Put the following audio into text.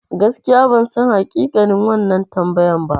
Gaskiya bansan hakikanin wannan tambayan ba.